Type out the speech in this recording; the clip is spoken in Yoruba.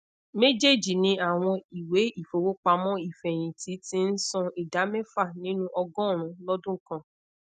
mejeeji ni awọn iwe ifowopamọ ifẹhinti ti n san ida mefa ninu ogorun lodun kan